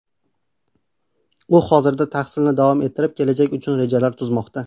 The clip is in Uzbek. U hozirda tahsilni davom ettirib, kelajak uchun rejalar tuzmoqda.